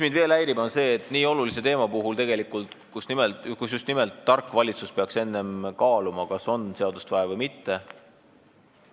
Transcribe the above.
Mind häirib veel see, et nii olulise teema puhul peaks tark valitsus tegelikult enne kaaluma, kas seadust on vaja või mitte.